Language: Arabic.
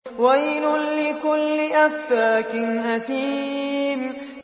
وَيْلٌ لِّكُلِّ أَفَّاكٍ أَثِيمٍ